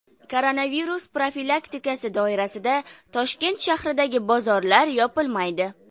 Koronavirus profilaktikasi doirasida Toshkent shahridagi bozorlar yopilmaydi.